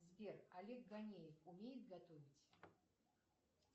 сбер олег ганеев умеет готовить